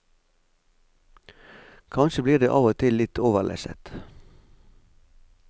Kanskje blir det av og til litt overlesset.